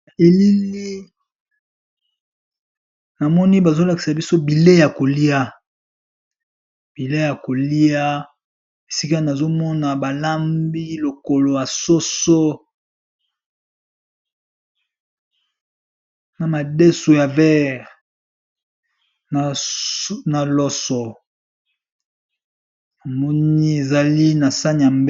Elili namoni bazolakisa biso bileyi ya kolia bileyi ya kolia esika nazomona balambi lokolo ya soso na madeso ya vert na loso namoni ezali nasani ya...